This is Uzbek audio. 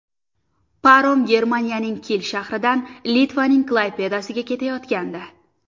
Parom Germaniyaning Kil shahridan Litvaning Klaypedasiga ketayotgandi.